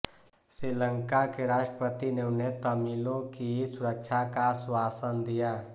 श्रीलंका के राष्ट्रपति ने उन्हें तमिलों की सुरक्षा का आश्वासन दिया